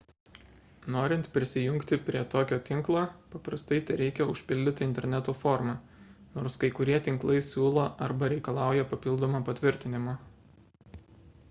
norint prisijungti prie tokio tinklo paprastai tereikia užpildyti interneto formą nors kai kurie tinklai siūlo arba reikalauja papildomo patvirtinimo